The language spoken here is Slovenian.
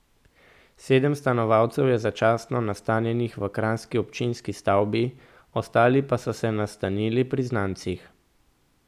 Sedem stanovalcev je začasno nastanjenih v kranjski občinski stavbi, ostali pa so se nastanili pri znancih.